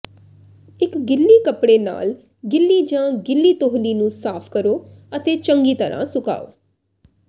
ਇੱਕ ਗਿੱਲੀ ਕੱਪੜੇ ਨਾਲ ਗਿੱਲੀ ਜਾਂ ਗਿੱਲੀ ਤੌਹਲੀ ਨੂੰ ਸਾਫ਼ ਕਰੋ ਅਤੇ ਚੰਗੀ ਤਰ੍ਹਾਂ ਸੁਕਾਓ